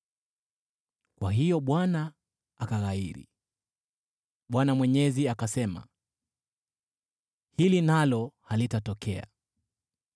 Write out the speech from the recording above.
Kwa hiyo Bwana akaghairi. Bwana Mwenyezi akasema, “Hili nalo halitatokea.”